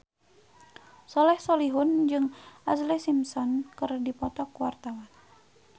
Soleh Solihun jeung Ashlee Simpson keur dipoto ku wartawan